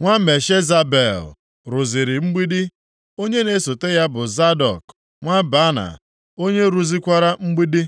nwa Meshezabel, rụziri mgbidi, onye na-esota ya bụ Zadọk nwa Baana, onye rụzikwara mgbidi.